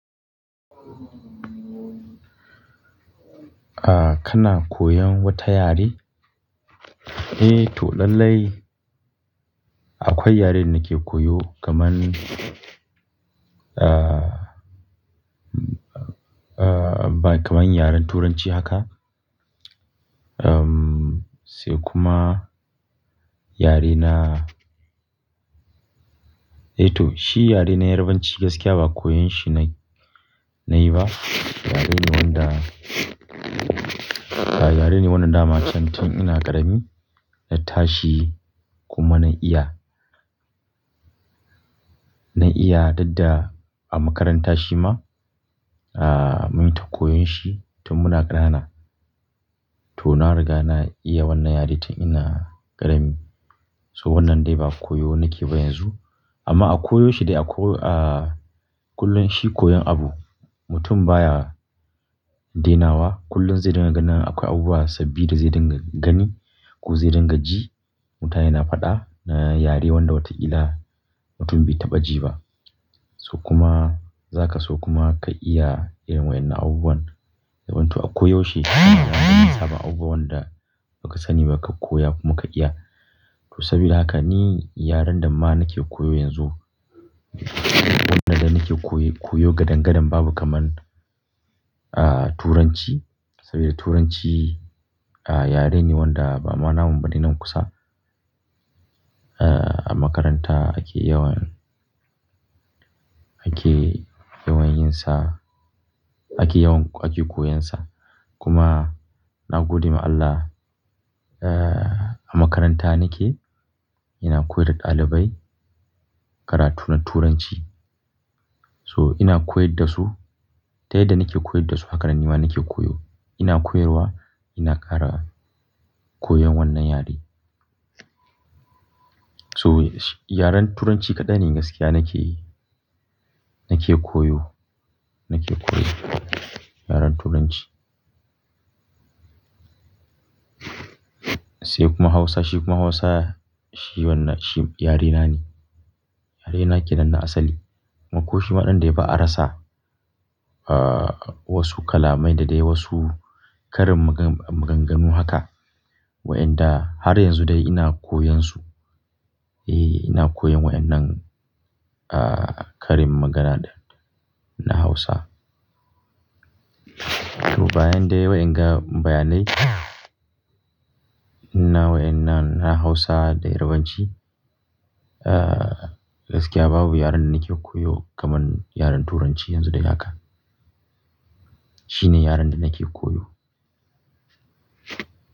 Ah, kana koyon wata yare? Eh to lallai, akwai yaren da nake koyo kaman, ah, kaman yaren Turanci haka. Uhm, sai kuma yarena, eh to shi yare na Yarbanci gaskiya ba koyon shi na yi ba. Yare ne wanda, yare ne wanda na macen tun ina ƙarami na tashi kuma na iya, na iya dukda a makarantar shi ma, ah, mun ta koyon shi tun muna ƙanana. To na riga na iya wannan yare tun ina ƙarami. To wannan dai ba koyo nake ba yanzu. Amma a koyo shi dai a koyo, ah, kullum shi koyon abu mutum baya dainawa. Kullum zai dinga ganin akwai abubuwa sabbi da zai dinga gani ko zai dinga ji. Mutane na faɗa na yare wanda watakila mutum bai taɓa ji ba. To kuma za ka so kuma ka iya irin wa'innan abubuwan. Ya zamto akoyaushe kana ganin sabon abubuwa wanda ba ka sani ba ka koya kuma ka iya. To saboda haka ni yaren da ma nake koyo yanzu, wannan dai nake koyo gadangadan babu kaman, ah, Turanci. Sabida Turanci yare ne wanda ba ma namu ba nan kusa. Ah, a makaranta ake yawan, ake yawan yin sa, ake yawan ake koyon sa. Kuma na gode ma Allah, ah, a makaranta nake ina koyar da ɗalibai karatu na Turanci. To ina koyar da su, ta yadda nake koyar da su haka nan nima nake koyo. Ina koyarwa ina ƙara koyon wannan yare. So yaren Turanci kaɗai ne gaskiya nake, nake koyo, nake koyo, yaren Turanci. Sai kuma Hausa, shi kuma Hausa shi wannan shi yarena ne. Yarena kenan na asali. Ko shi ma ɗin dai ba a rasa, ah, wasu kalamai da dai wasu karin maganganu haka. Waɗanda har yanzu dai ina koyan su. Eh ina koyan waɗannan, ah, karin magana na Hausa. To bayan dai wa'inga bayanai, na wa'innan na Hausa da Yarbanci, ah, gaskiya babu yaren nake koyo kaman yaren Turanci yanzu dai haka. Shi ne yaren da nake koyo.